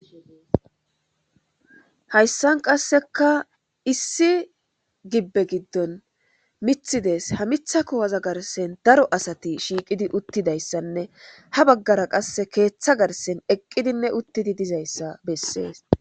Hayssan qasseka issi gibbe giddon mithi dees ha mitha kuwaza garsen daro asati shiiqidi uttidayssanne ha baggara qass keeththa garsen eqqidinne uttidi dizayssa bessees.